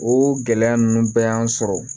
O gɛlɛya ninnu bɛɛ y'an sɔrɔ